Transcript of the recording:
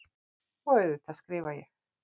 Og auðvitað skrifa ég.